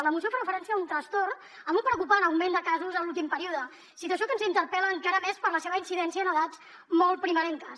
la moció fa referència a un trastorn amb un preocupant augment de casos a l’últim període situació que ens interpel·la encara més per la seva incidència en edats molt primerenques